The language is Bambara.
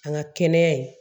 An ka kɛnɛya ye